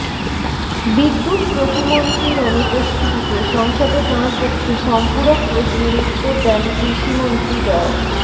বিদ্যুৎ প্রতিমন্ত্রীর অনুপস্থিতিতে সংসদে তাঁর পক্ষে সম্পূরক প্রশ্নের উত্তর দেন কৃষিমন্ত্রী ড